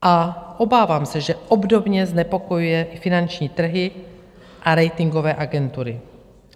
A obávám se, že obdobně znepokojuje i finanční trhy a ratingové agentury.